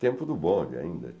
Tempo do bonde ainda.